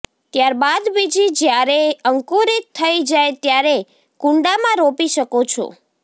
ત્યારબાદ બીજ જ્યારે અંકુરિત થઈ જાય ત્યારે કૂંડાંમાં રોપી શકો છો